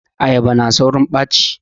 Ayaba na daurin ɓaci